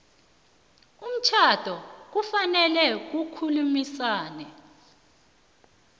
umtjhado kufanele kukhulunyiswane